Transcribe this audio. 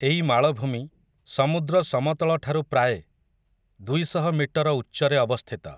ଏଇ ମାଳଭୂମି, ସମୁଦ୍ର ସମତଳଠାରୁ ପ୍ରାଏ, ଦୁଇ ଶହ ମିଟର ଉଚ୍ଚରେ ଅବସ୍ଥିତ ।